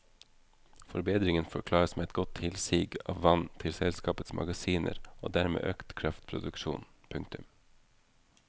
Forbedringen forklares med godt tilsig av vann til selskapets magasiner og dermed økt kraftproduksjon. punktum